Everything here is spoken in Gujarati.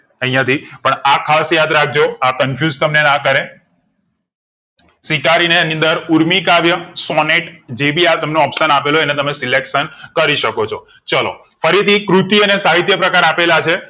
અહીંયા થી પણ આ ખાશ યાદ રાખ જો આ confuse તમને ના કારે સ્વીકારીને અંદર ઊર્મિ કાવ્ય સૉનેટ જે ભી આ તમને option આપેલું હોય અને તમે selection કરી શકો છો ચાલો ફરીથી કૃતિઓ ને સાહિત્યકાર આપેલા છે